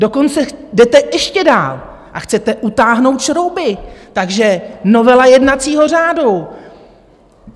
Dokonce jdete ještě dál a chcete utáhnout šrouby, takže novela jednacího řádu.